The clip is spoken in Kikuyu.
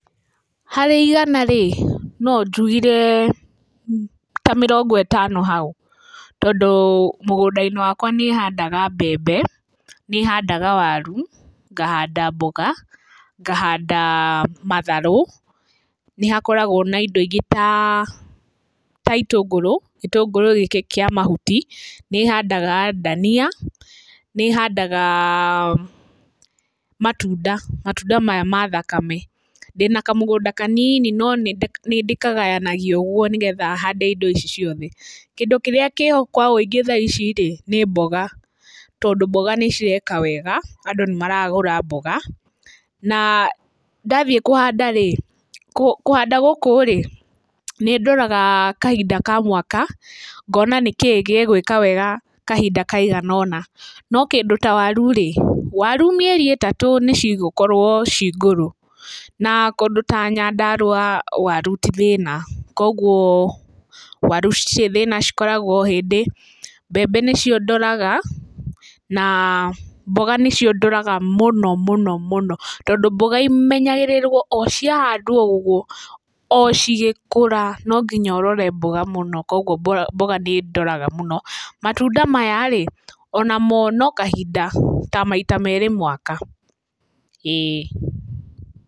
Harĩ igana-rĩ, no njugire ta mĩrongo ĩtano hau, tondũ mũgũnda-inĩ wakwa nĩ handaga mbembe, ni handaga waru ngahanda mboga, ngahanda matharũ, nĩ hakoragũo na indo ingĩ ta itũngũrũ, itungũrũ gĩkĩ kĩa mahuti, nĩ handaga ndania, ni handaga matunda matunda maya ma thakame. Ndina kamũgũnda kanini no nĩ ndĩkagayanagia ũguo nĩgetha hande indo ici ciothe. Kindũ kĩrĩa kĩho kwa ũingĩ tha ici-rĩ nĩ mboga tondũ mboga nĩ ireka wega, andũ nĩ maragũra mboga na ndathiĩ kũhanda-rĩ, kũhanda gũkũ-rĩ nĩndoraga kahinda ka mwaka ngona nĩkĩ gĩgũĩka wega kahinda kaigana o ũna, no kĩndu ta waru-rĩ, waru mĩeri ĩtatũ nĩ cigũkorũo cingũrũ. Na kũndũ ta Nyandarũa waru ti thĩna, koguo waru citirĩ thĩna cikoragũo ohĩndĩ. Mbembe nĩcio ndoraga na mboga nĩcio ndoraga mũno mũno mũno, tondũ mboga imenyagĩrĩragwo ociahandwo, o cigĩkũra no nginya ũrore mboga mũno koguo mboga nĩndoraga mũno. Matunda maya-rĩ onamo no kahinda ta maita merĩ mwaka, íĩ.